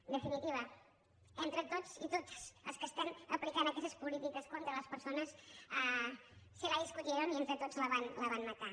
en definitiva entre tots i totes els que estem aplicant aquestes polítiques contra les persones se la discutieronla van matar